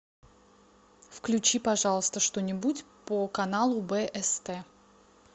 включи пожалуйста что нибудь по каналу бст